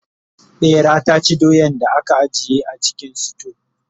ɓera ta ci doyan da aka ajiye a cikin suto